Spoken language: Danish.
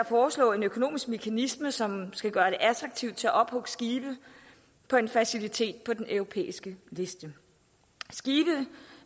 foreslå en økonomisk mekanisme som skal gøre det attraktivt at ophugge skibe på en facilitet på den europæiske liste skibe